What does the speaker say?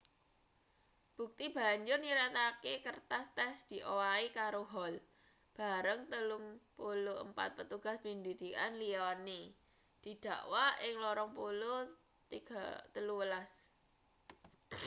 bukti banjur nyiratake kertas tes diowahi karo hall bareng 34 petugas pendidikan liyane didakwa ing 2013